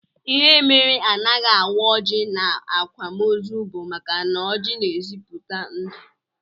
Ihe mere anaghị awa ọjị n'akwamozu bụ maka na ọjị na-ezipụta ndụ